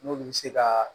N'olu bɛ se ka